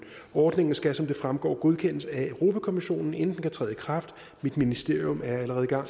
ordningen skal som det fremgår godkendes af europa kommissionen inden den kan træde i kraft mit ministerium er allerede i gang